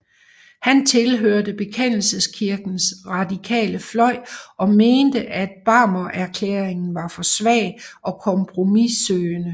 Han tilhørte Bekendelseskirkens radikale fløj og mente at Barmenerklæringen var for svag og kompromissøgende